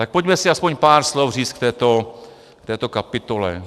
Ale pojďme si aspoň pár slov říct k této kapitole.